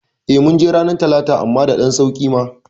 Eh ,munje ranar talata amma da ɗan sauƙi ma